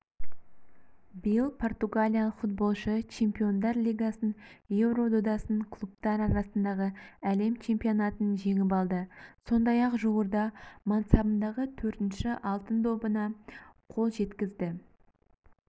биыл португалиялық футболшы чемпиондар лигасын еуро додасын клубтар арасындағы әлем чемпионатын жеңіп алды сондай-ақ жуырда мансабындағы төртінші алтын добына қол жеткізді